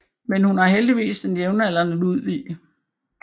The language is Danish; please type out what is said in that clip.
Men hun har heldigvis den jævnaldrende Ludvig